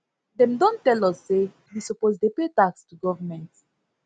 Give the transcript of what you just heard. dem don tell us say we suppose dey pay tax to government